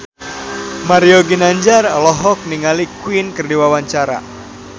Mario Ginanjar olohok ningali Queen keur diwawancara